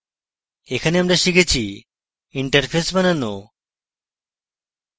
এখানে আমরা শিখেছি: interface বানানো